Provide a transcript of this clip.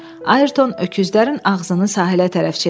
Ayrton öküzlərin ağzını sahilə tərəf çevirdi.